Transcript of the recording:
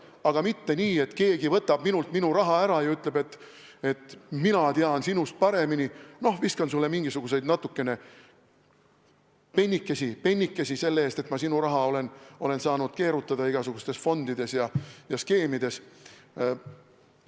Aga mitte nii, et keegi võtab minult mu raha ära ja ütleb, et tema teab minust paremini, ning viskab mulle mingisuguseid pennikesi selle eest, et ta minu raha on saanud igasugustes fondides ja skeemides keerutada.